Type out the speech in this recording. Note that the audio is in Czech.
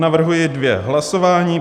Navrhuji dvě hlasování.